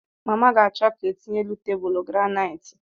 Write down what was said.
Mama ga-achọ ka etinye elu tebụlu granaiiti.